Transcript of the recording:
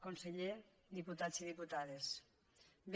conseller diputats i diputades bé